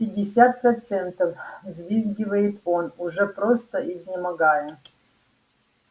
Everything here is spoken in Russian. пятьдесят процентов взвизгивает он уже просто изнемогая